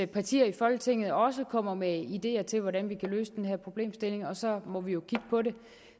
partier i folketinget også kommer med ideer til hvordan vi kan løse den her problemstilling og så må vi jo kigge på det